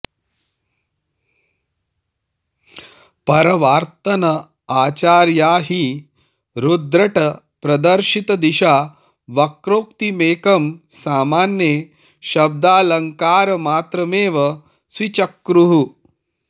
परर्वात्तन आचार्या हि रुद्रटप्रदर्शितदिशा वक्रोक्तिमेकं सामान्ये शब्दालङ्कारमात्रमेव स्वीचक्रुः